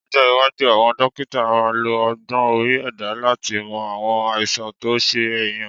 Lọ́jọ́ iwájú, àwọn dókítà á máa lo ọgbọ́n orí ẹ̀dá láti mọ àwọn àìsàn tó ń ṣe èèyàn